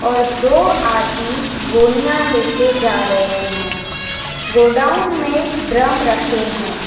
और दो आदमी गोनियां लेकर जा रहे हैं। गोडाउन में ड्रम रखे हैं।